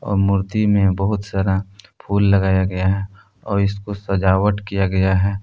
मूर्ति में बहुत सारा फूल लगाया गया है और इसको सजावट किया गया है।